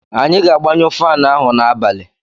Anyị ga-agbanyụ faanụ ahụ n'abalị.